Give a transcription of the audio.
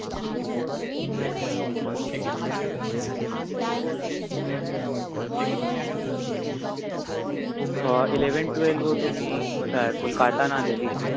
আহ eleven twelve ও তুমি কোথায় Kolkata না Delhi